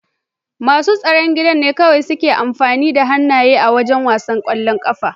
Masu tsaron gida ne kawai suke amfani da hannaye a wasan ƙwallon ƙafa.